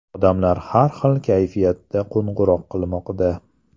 Odamlar har xil kayfiyatda qo‘ng‘iroq qilmoqda.